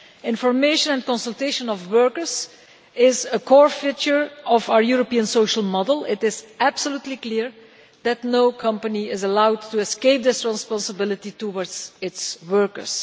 Information and consultation of workers is a core feature of our European Social Model. It is absolutely clear that no company is allowed to escape this responsibility towards its workers.